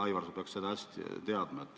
Aivar, sa peaks seda hästi teadma.